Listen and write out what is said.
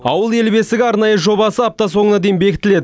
ауыл ел бесігі арнайы жобасы апта соңына дейін бекітіледі